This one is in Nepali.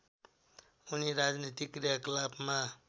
उनी राजनैतिक क्रियाकलापमा